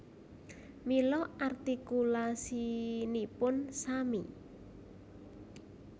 Mila artikulasinipun sami